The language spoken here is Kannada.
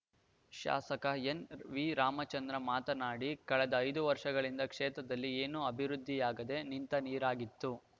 ಶಾಸಕ ಎಸ್‌ವಿರಾಮಚಂದ್ರ ಮಾತನಾಡಿ ಕಳೆದು ಐದು ವರ್ಷಗಳಿಂದ ಕ್ಷೇತ್ರದಲ್ಲಿ ಏನು ಅಭಿವೃದ್ದಿಯಾಗದೇ ನಿಂತ ನೀರಾಗಿತ್ತು